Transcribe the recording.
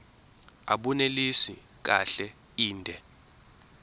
abunelisi kahle inde